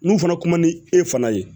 N'u fana kuma ni e fana ye